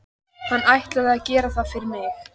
Hann ætli að gera það fyrir mig.